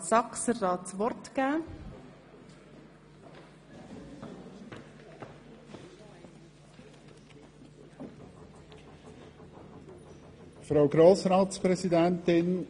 Vor diesem Hintergrund sowie in Anbetracht der angespannten finanziellen Lage des Kantons und der anstehenden Prüfung von Entlastungsmassnahmen beantragt der Regierungsrat dem Grossen Rat, die Motion in der Form des Postulats zu überweisen.